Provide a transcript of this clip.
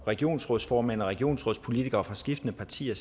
regionsrådsformænd og regionsrådspolitikere fra skiftende partier